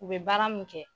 U bɛ baara min kɛ